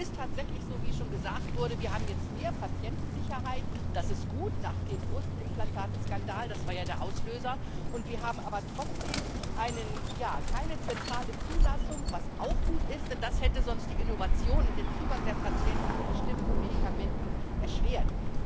Es ist tatsächlich so, wie schon gesagt wurde Wir haben jetzt mehr Patientensicherheit. Das ist gut nach dem Brustimplantateskandal das war ja der Auslöser und wir haben aber trotzdem keine zentrale Zulassung, was auch gut ist, denn das hätte sonst die Innovation und den Zugang der Patienten zu bestimmten Medikamenten erschwert.